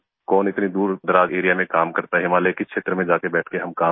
कौन इतनी दूरदराज एआरईए में काम करता है हिमालय के क्षेत्र में जाके बैठ के हम काम कर रहे हैं